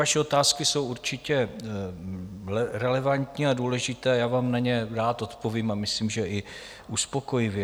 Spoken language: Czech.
Vaše otázky jsou určitě relevantní a důležité, já vám na ně rád odpovím a myslím, že i uspokojivě.